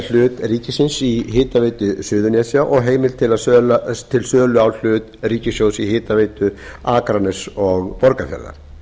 hlut ríkisins í hitaveitu suðurnesja og heimild til sölu ríkissjóðs á hitaveitu akraness og borgarfjarðar